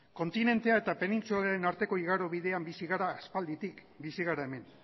kontinentea eta penintsularen arteko igarobidean bizi gara aspalditik bizi gara hemen